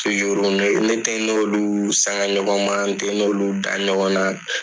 ne tɛ n n'olu sanga ɲɔgɔn ma n tɛ n'olu da ɲɔgɔn ma